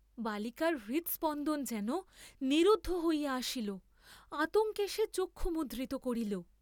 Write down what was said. বালিকার হৃদ্‌স্পন্দন যেন নিরুদ্ধ হইয়া আসিল, আতঙ্কে সে চক্ষু মুদ্রিত করিল।